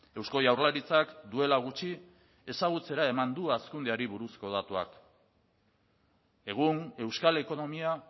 eusko jaurlaritzak duela gutxi ezagutzera eman du hazkundeari buruzko datuak egun euskal ekonomia